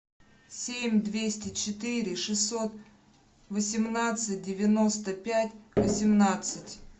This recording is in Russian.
семь двести четыре шестьсот восемнадцать девяносто пять восемнадцать